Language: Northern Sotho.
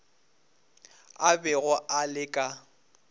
a bego a le ka